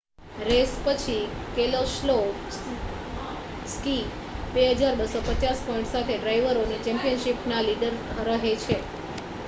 race પછી Keselowski 2,250 point સાથે ડ્રાઇવરોની ચૅમ્પિયનશિપના લીડર રહે છે